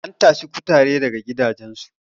an tashi kutare daga gidajensu